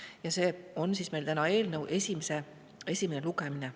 Ja täna on meil eelnõu esimene lugemine.